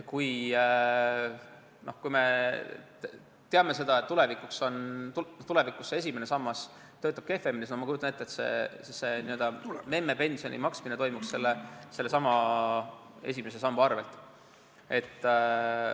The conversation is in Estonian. Kuigi me teame, et tulevikus esimene sammas töötab kehvemini, siis ma kujutan ette, et see n-ö memmepensioni maksmine toimuks sellesama esimese samba arvel.